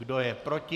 Kdo je proti?